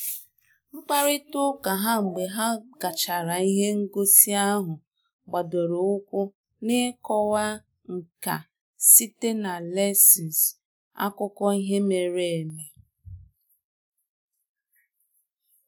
Mkparịta ụka ha mgbe ha gachara ihe ngosi ahụ gbadoro ụkwụ na ịkọwa nka site na lensws akụkọ ihe mere eme ihe mere eme